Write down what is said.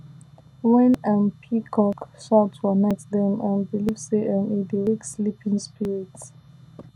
when um peacock shout for night dem um believe say um e dey wake sleeping spirits